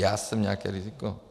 Já jsem nějaké riziko?